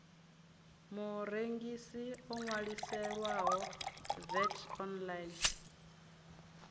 murengisi o ṅwaliselwaho vat online